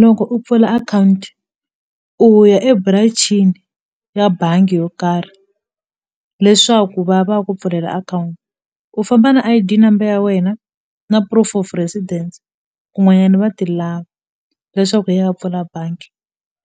Loko u pfula akhawunti u ya eburancini ya bangi yo karhi leswaku va ya va ya ku pfulela akhawunti u famba na I_D number ya wena na proof of residence kun'wanyana va ti lava leswaku u ya pfula bangi